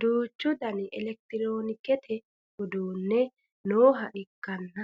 duuchu dani elekitiroonikisete uduunni nooha ikkanna